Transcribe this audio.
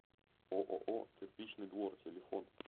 ооо кирпичный двор телефон